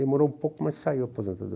Demorou um pouco, mas saiu a